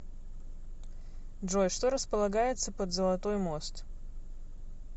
джой что располагается под золотой мост